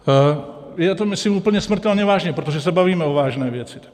Já to myslím úplně smrtelně vážně, protože se bavíme o vážné věci.